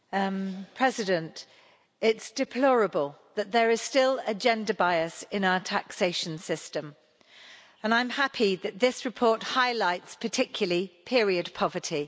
Madam President, it's deplorable that there is still a gender bias in our taxation system, and I'm happy that this report highlights particularly period poverty.